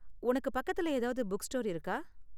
உனக்கு பக்கத்துல ஏதாவது புக்ஸ்டோர் இருக்கா?